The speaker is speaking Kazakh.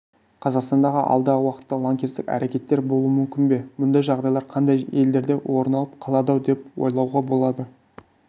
қазақстанда алдағы уакытта лаңкестік әрекеттер болуы мүмкін бе мұндай жағдайлар қандай елдерде орын алып қалады-ау деп ойлауға болады